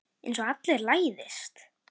Einsog allir læðist.